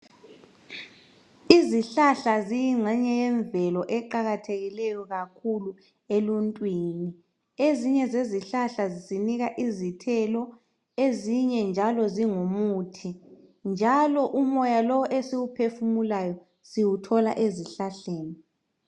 Izihlahla ziyingxenye yemvelo eqakathekileyo kakhulu eluntwini. Ezinye zezihlahla zisinika izithelo ,ezinye njalo zingumuthi njalo umoya lo esiwuphefumulayo siwuthola ezihlahleni.